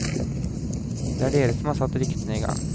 Det er dere som har satt ryktene i gang.